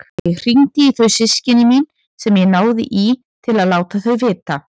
Ég hringdi í þau systkini mín sem ég náði í til að láta þau vita.